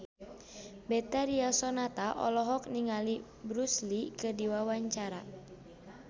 Betharia Sonata olohok ningali Bruce Lee keur diwawancara